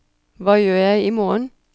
hva gjør jeg imorgen